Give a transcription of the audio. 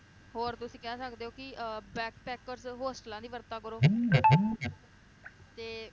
ਹੋਰ ਤੁਸੀਂ ਕਹਿ ਸਕਦੇ ਓ ਕਿ bagpackers ਦੀ ਵਰਤੋਂ ਕਰੋ ਤੇ